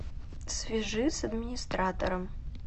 свяжи с администратором